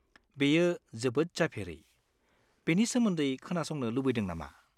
बेयो जोबोद जाफेरै, बेनि सोमोन्दै खोनासंनो लुबैदों नामा?